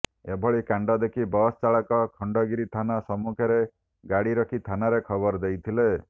ଏଭଳି କାଣ୍ଡ ଦେଖି ବସ୍ ଚାଳକ ଖଣ୍ଡଗିରି ଥାନା ସମ୍ମୁଖରେ ଗାଡ଼ି ରଖି ଥାନାରେ ଖବର ଦେଇଥିଲେ